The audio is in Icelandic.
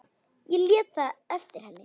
Ég lét það eftir henni.